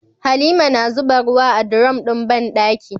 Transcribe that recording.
Halima na zuba ruwa a durom din banɗaki